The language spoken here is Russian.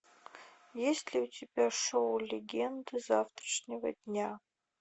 есть ли у тебя шоу легенды завтрашнего дня